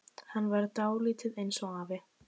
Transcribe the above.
Hann var dálítið eins og afi.